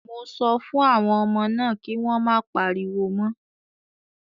Mo sọ fún àwọn ọmọ náà kí wọ́n má pariwo mọ́.